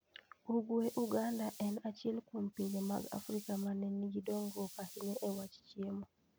ugwe uganda en achiel kuom pinje mag Afrika ma ne nigi dongruok ahinya e wach chiemo.